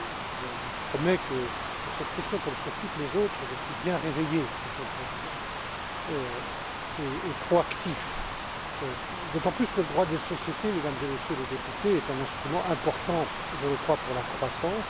Je lui promets que sur cette question, comme sur toutes les autres, je suis bien réveillé, Monsieur le Président, et proactif. D'autant plus que le droit des sociétés, Mesdames et Messieurs les députés, est un instrument important pour la croissance.